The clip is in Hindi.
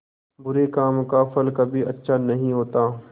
बुरे काम का फल कभी अच्छा नहीं होता